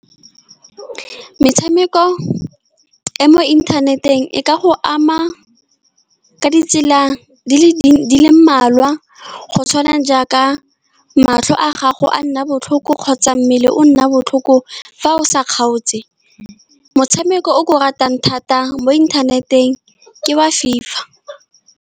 Metshameko e e mo inthaneteng e ka go ama ka ditsela di le mmalwa, go tshwana jaaka matlho a gago a nna botlhoko kgotsa mmele o nna botlhoko fa o sa kgaotse. Motshameko o ke o ratang thata mo inthaneteng ke wa FIFA.